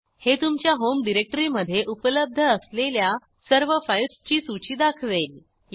हे तुमच्या home directory मधे उपलब्ध असलेल्या सर्व फाईल्सची सूची दाखवेल